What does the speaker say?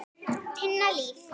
Tinna Líf.